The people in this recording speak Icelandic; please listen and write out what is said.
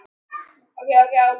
Takk fyrir allt, elsku Steini.